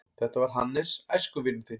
Þetta var Hannes, æskuvinur þinn.